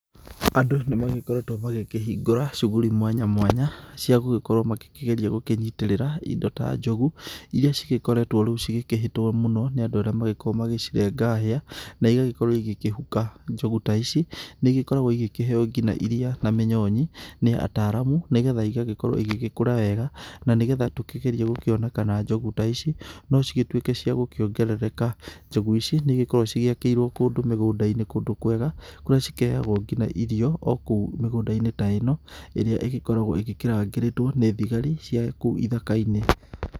Andũ nĩ magĩkoretwo magĩkĩhungũra shughuli mwanya mwanya cia gũgĩkorwo magĩkĩgeria gũkĩnyitĩrĩra indo ta njogu, irĩa cigĩkoretwo rĩu cigĩkĩhĩtwo mũno nĩ andũ arĩa magĩkoragwo magĩcirenga hĩa na igagĩkorwo igĩkĩhuka. Njogu ta ici nĩ igĩkoragwo igĩkĩheo nginya iria na mĩnyonyi, nĩ ataaramu nĩgetha igagĩkorwo igĩgĩkũra wega na nĩgetha tũkĩgerie gũkĩona kana njogu ta ici no cigĩtuĩke cia gũkĩongerereka, njogu ici nĩ igĩkoragwo cigĩakĩirwo kũndũ mĩgũnda-inĩ kũndũ kwega, kũrĩa cikĩheagwo nginya irio o kũu mĩgũnda-inĩ ta ĩno, ĩrĩa ĩgĩkoragwo ĩgĩkĩrangĩrĩtwo nĩ thigari cia kũu ithaka-inĩ.